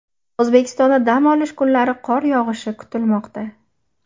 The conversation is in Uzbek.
O‘zbekistonda dam olish kunlari qor yog‘ishi kutilmoqda.